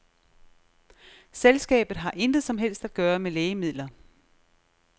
Selskabet har intet som helst at gøre med lægemidler.